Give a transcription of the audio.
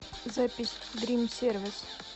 запись дрим сервис